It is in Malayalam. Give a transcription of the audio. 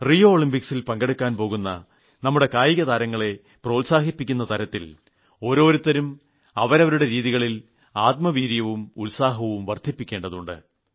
റിയോ ഒളിമ്പിക്സിൽ പങ്കെടുക്കാൻ പോകുന്ന നമ്മുടെ കായികതാരങ്ങളെ പ്രോത്സാഹിപ്പിക്കുന്ന തരത്തിൽ ഓരോരുത്തരും അവരവരുടെ രീതിയിൽ ആത്മവീര്യവും ഉത്സാഹവും വർദ്ധിപ്പിക്കേണ്ടതുണ്ട്